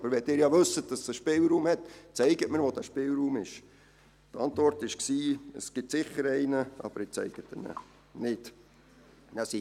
Aber wenn Sie wissen, dass es einen Spielraum gibt, dann zeigen Sie mir, wo er ist!» Die Antwort war, dass es sicher einen gebe, aber dass man ihn mir nicht zeige.